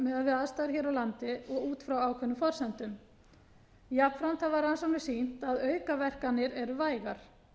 við aðstæður hér á landi og út frá ákveðnum forsendum jafnframt hafa rannsóknir sýnt að aukaverkanir eru vægar